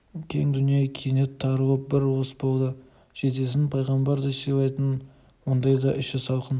кең дүние кенет тарылып бір уыс болды жездесін пайғамбардай сыйлайтын ондайда іші салқын